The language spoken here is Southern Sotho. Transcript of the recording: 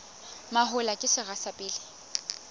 mahola ke sera sa pele